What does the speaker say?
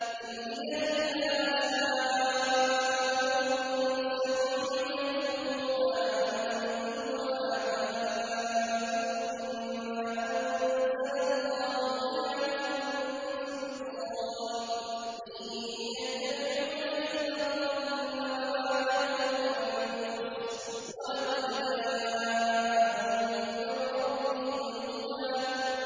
إِنْ هِيَ إِلَّا أَسْمَاءٌ سَمَّيْتُمُوهَا أَنتُمْ وَآبَاؤُكُم مَّا أَنزَلَ اللَّهُ بِهَا مِن سُلْطَانٍ ۚ إِن يَتَّبِعُونَ إِلَّا الظَّنَّ وَمَا تَهْوَى الْأَنفُسُ ۖ وَلَقَدْ جَاءَهُم مِّن رَّبِّهِمُ الْهُدَىٰ